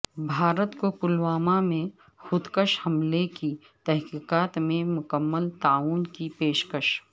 بھارت کوپلوامہ میں خودکش حملے کی تحقیقات میں مکمل تعاون کی پیشکش